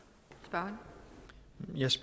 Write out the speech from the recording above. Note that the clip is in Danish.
for